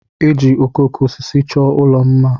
E ji okooko osisi chọọ ụlọ m mma.